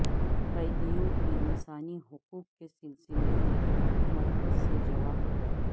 قیدیوں کے انسانی حقوق کے سلسلہ میں مرکز سے جواب طلب